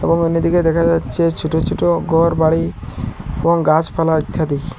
এবং অন্যদিকে দেখা যাচ্ছে ছোট ছোট ঘরবাড়ি এবং গাছপালা ইত্যাদি।